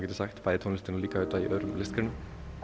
geti sagt bæði í tónlistinni og líka auðvitað í öðrum listgreinum